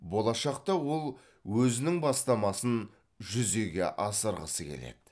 болашақта ол өзінің бастамасын жүзеге асырғысы келеді